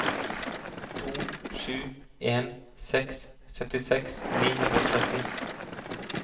to sju en seks syttiseks ni hundre og tretti